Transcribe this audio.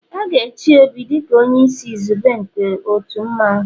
A ga-echi Obi dị ka onye isi izugbe nke otu mmanwu